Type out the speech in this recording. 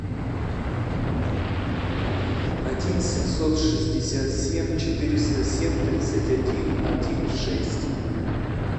один семьсот шестьдесят семь четыреста семь тридцать один один шесть